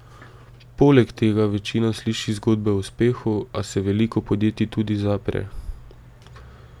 Poleg tega večina sliši zgodbe o uspehu, a se veliko podjetij tudi zapre.